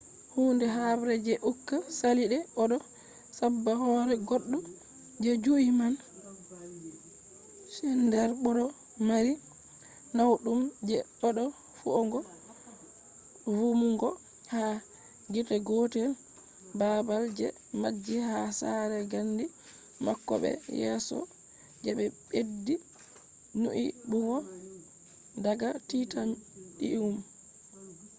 hunde habre je uka sali de odo sabba hore goddo je jui man. schneider bo do mari nawdum je dodo feugo vumugo ha gite gotel babal je majji ha sare gandi mako be yeso je be beddi nyibugo daga titanium